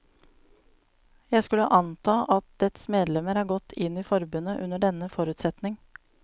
Jeg skulle anta at dets medlemmer er gått inn i forbundet under denne forutsetning.